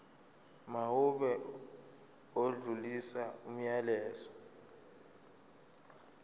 mawube odlulisa umyalezo